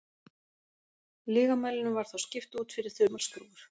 lygamælinum var þá skipt út fyrir þumalskrúfur